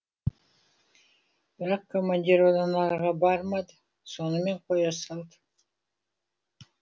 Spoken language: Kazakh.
бірақ командир одан арыға бармады сонымен қоя салды